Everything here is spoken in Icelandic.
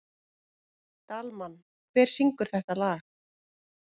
Dalmann, hver syngur þetta lag?